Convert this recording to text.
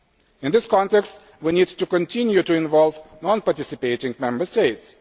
In this context, we need to continue to involve non participating Member States.